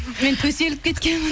мен төселіп кеткенмін